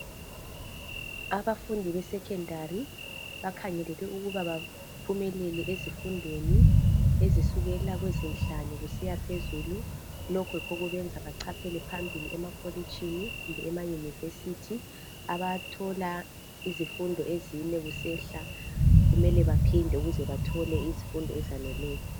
Abafundi be Secondary bakhangelelwe ukuba baphumelele ezifundweni ezisukela kwezinhlanu kusiya phezulu lokhu yikho okubenza bechaphele phambili emakolitshini kumbe ema University abathola izifundo ezine kusehla kumele baphinde ukuze bathole izifundo ezaneleyo.